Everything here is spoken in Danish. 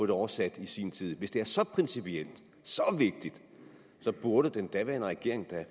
det oversat i sin tid hvis det er så principielt så vigtigt burde den daværende regering da